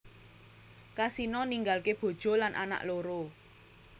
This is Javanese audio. Kasino ninggalké bojo lan anak loro